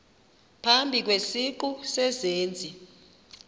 phambi kwesiqu sezenzi